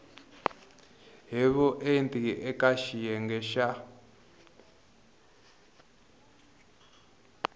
hi vuenti eka xiyenge xa